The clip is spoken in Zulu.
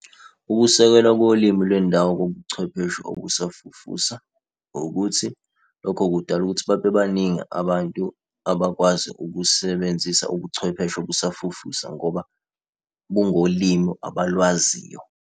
Ukusekelwa kolimi lwendawo kobuchwepheshe obusafufusa ukuthi lokho kudala ukuthi babe baningi abantu abakwazi ukusebenzisa ubuchwepheshe obusafufusa ngoba bungolimi abalwaziyo.